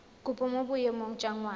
kopo mo boemong jwa ngwana